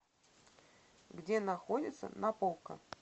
где находится наполка